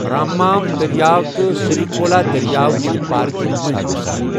راممام دٔریاو تہٕ سریکھولا دٔریاو چھِ پارکہِ منٛزۍ وسان۔